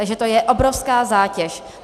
Takže to je obrovská zátěž.